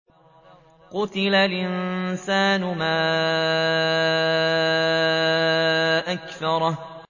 قُتِلَ الْإِنسَانُ مَا أَكْفَرَهُ